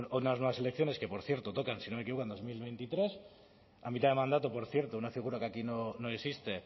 unas nuevas elecciones que por cierto tocan si no me equivoco en dos mil veintitrés a mitad de mandato por cierto una figura que aquí no existe